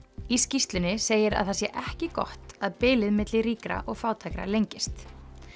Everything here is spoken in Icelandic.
í skýrslunni segir að það sé ekki gott að bilið milli ríkra og fátækra lengist